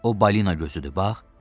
O balina gözüdür, bax.